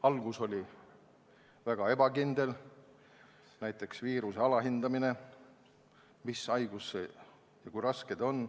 Algus oli väga ebakindel, näiteks alahinnati viirust – seda, mis haigus ja kui raske see on.